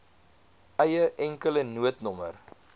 eie enkele noodnommer